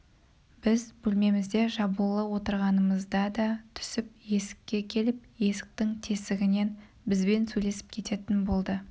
біз бөлмемізде жабулы отырғанымызда да түсіп есікке келіп есіктің тесігінен бізбен сөйлесіп кететін болды